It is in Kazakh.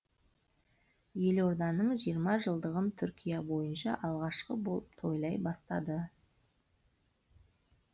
елорданың жиырма жылдығын түркия бойынша алғашқы болып тойлай бастады